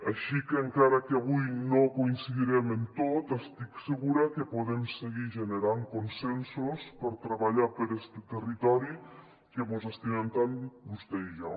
així que encara que avui no coin·cidirem en tot estic segura que podem seguir generant consensos per treballar per este territori que mos estimen tant vostè i jo